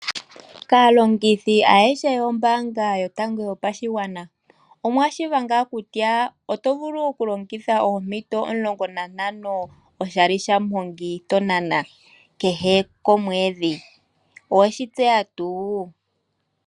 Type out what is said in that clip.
Kaalongithi ayehe yombanga yotango yopashigwana, omwa tseya ngaa kutya oto vulu kulongitha oompito omulongo nantango oshali shamuhongi tonana kehe komwedhi, oweshi tseya tuu?